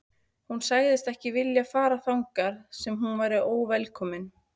Hún sagðist ekki vilja fara þangað sem hún væri óvelkomin.